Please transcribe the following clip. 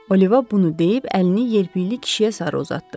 Oliva bunu deyib əlini yelpikli kişiyə sarı uzatdı.